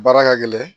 Baara ka gɛlɛn